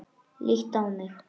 Líttu á mig.